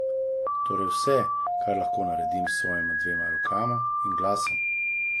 Torej vse, kar lahko naredim s svojima dvema rokama in glasom!